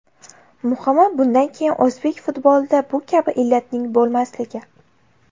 Muhimi, bundan keyin o‘zbek futbolida bu kabi illatning bo‘lmasligi.